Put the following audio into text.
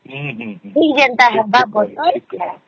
କେନ୍ତା